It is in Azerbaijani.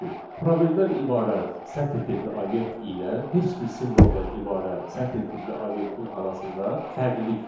Çünki probeldən ibarət sətr tipli obyekt ilə heç bir simvoldan ibarət sətr tipli obyektin arasında fərqlilik var.